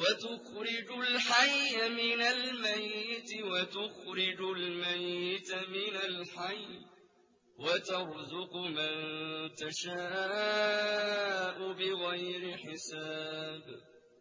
وَتُخْرِجُ الْحَيَّ مِنَ الْمَيِّتِ وَتُخْرِجُ الْمَيِّتَ مِنَ الْحَيِّ ۖ وَتَرْزُقُ مَن تَشَاءُ بِغَيْرِ حِسَابٍ